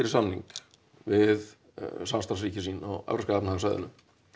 samning við samstarfsríki sín á Evrópska efnahagssvæðinu